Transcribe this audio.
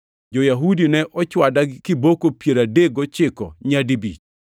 Jo-Yahudi ne ochwada kiboko piero adek gochiko nyadibich.